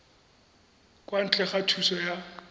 kwa ntle ga thuso ya